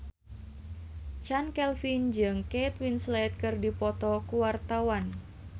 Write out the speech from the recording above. Chand Kelvin jeung Kate Winslet keur dipoto ku wartawan